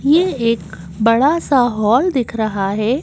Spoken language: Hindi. ये एक बड़ा सा हॉल दिख रहा है।